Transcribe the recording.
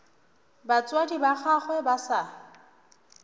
batswadi ba gagwe ba sa